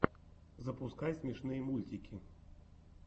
запускай смешные мультики